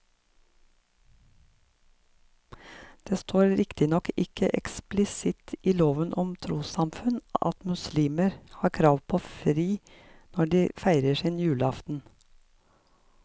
Det står riktignok ikke eksplisitt i loven om trossamfunn at muslimer har krav på fri når de feirer sin julaften.